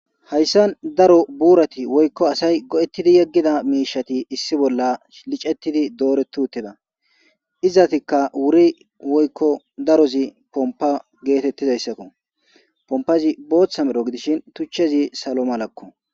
Hayssan daro buurati woykko asay go'etidi yegiida miishshati issi bolla licetidi dooreti uttida; izatikka wuri woykko darozi pompa geetetizaysako pompazi bootha medho gidishin tuchchezi salo malako.